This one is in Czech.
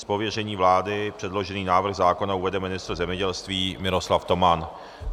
Z pověření vlády předložený návrh zákona uvede ministr zemědělství Miroslav Toman.